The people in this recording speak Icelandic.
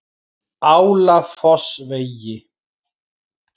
Álafossvegi